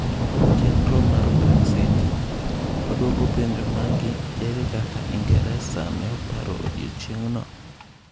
Chenro mar Brexit: waduoko penjo magi ere kaka Ingeresa ne paro odiechieng'no?